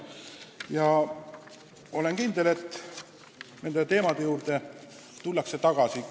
Olen siiski kindel, et nende teemade juurde tullakse tagasi.